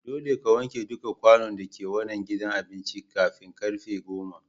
Dolle ka wanke dukan kwanun da ke wanan gidan abincin kafin karfen goma!